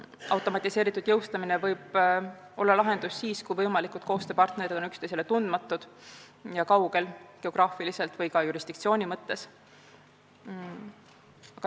Automatiseeritud jõustamine võib olla lahendus siis, kui võimalikud koostööpartnerid on üksteisele tundmatud ja kaugel geograafiliselt või ka jurisdiktsiooni mõttes.